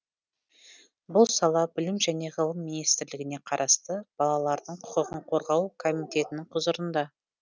бұл сала білім және ғылым министрлігіне қарасты балалардың құқығын қорғау комитетінің құзырында